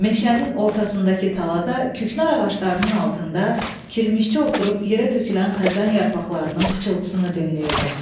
Meşənin ortasındakı talada küknar ağaclarının altında kirmişçi oturub yerə tökülən xəzan yarpaqlarının pıçıltısını dinləyirdim.